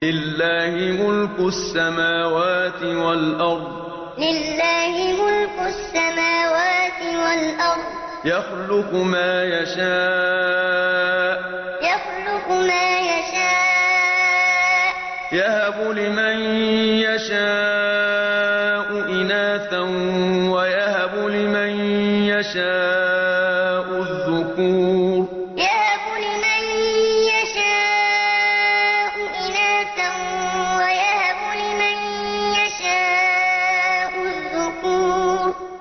لِّلَّهِ مُلْكُ السَّمَاوَاتِ وَالْأَرْضِ ۚ يَخْلُقُ مَا يَشَاءُ ۚ يَهَبُ لِمَن يَشَاءُ إِنَاثًا وَيَهَبُ لِمَن يَشَاءُ الذُّكُورَ لِّلَّهِ مُلْكُ السَّمَاوَاتِ وَالْأَرْضِ ۚ يَخْلُقُ مَا يَشَاءُ ۚ يَهَبُ لِمَن يَشَاءُ إِنَاثًا وَيَهَبُ لِمَن يَشَاءُ الذُّكُورَ